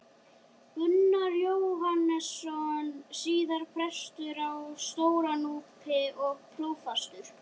Gunnar Jóhannesson, síðar prestur á Stóra-Núpi og prófastur.